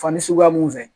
Fani suguya mun fɛ